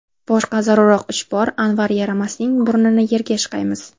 Boshqa zarurroq ish bor, Anvar yaramasning burnini yerga ishqaymiz.